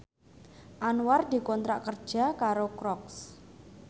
Anwar dikontrak kerja karo Crocs